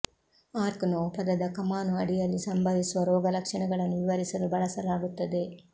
arc ನೋವು ಪದದ ಕಮಾನು ಅಡಿಯಲ್ಲಿ ಸಂಭವಿಸುವ ರೋಗಲಕ್ಷಣಗಳನ್ನು ವಿವರಿಸಲು ಬಳಸಲಾಗುತ್ತದೆ